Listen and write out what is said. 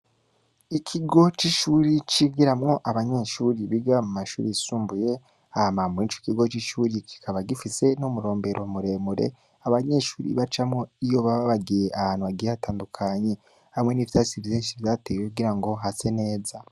Ikigo c'ishuri c'igiramwo abanyeshuri biga mu mashuri sumbuye ahamambura ico ikigo c'ishuri kikaba gifise no murombero muremure abanyeshuri bacamwo iyo bababagiye ahantu agihatandukanyi hamwe n'ivyasi vyinshi vyatewe kugira ngo hase neza.